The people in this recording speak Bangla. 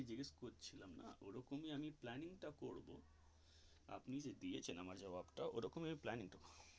এইটাই তো আমি জিজ্ঞাস করছিলাম ওই রকম আমি planning টা করবো আপনি যে দিয়েছেন আমার জব্ববটা ওই রকম planning করবো.